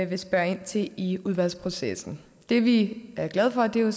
vil spørge ind til i udvalgsprocessen det vi er glade for er jo